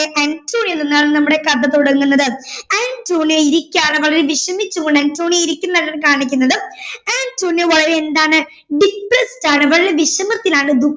അന്റോണിയോയിൽ നിന്നാണ് നമ്മുടെ കഥ തുടങ്ങുന്നത് അന്റോണിയോ ഇരിക്കാണ് വളരെ വിഷമിച്ചുകൊണ്ട് അന്റോണിയോ ഇരിക്കുന്നത് കാണിക്കുന്നുണ്ട് അന്റോണിയോ വളരെ എന്താണ് depressed ആണ് വളരെ വിഷമത്തിലാണ്